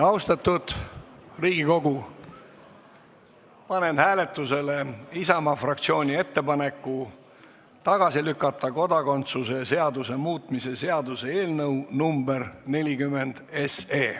Austatud Riigikogu, panen hääletusele Isamaa fraktsiooni ettepaneku lükata tagasi kodakondsuse seaduse muutmise seaduse eelnõu 40.